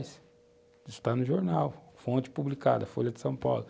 Isso tá no jornal, fonte publicada, Folha de São Paulo.